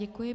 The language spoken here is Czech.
Děkuji.